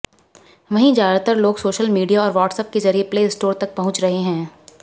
वहीं ज्यादातर लोग सोशल मीडिया और व्हाट्सएप के जरिए प्ले स्टोर तक पहुंच रहे हैं